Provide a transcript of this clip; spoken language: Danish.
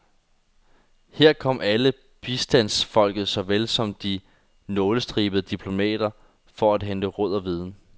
Her kom alle, bistandsfolket såvel som de nålestribede diplomater, for at hente råd og viden.